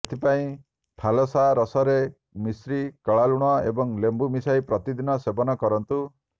ଏଥିପାଇଁ ଫାଲସା ରସରେ ମିଶ୍ରି କଳା ଲୁଣ ଏବଂ ଲେମ୍ବୁ ମିଶାଇ ପ୍ରତିଦିନ ସେବନ କରନ୍ତୁ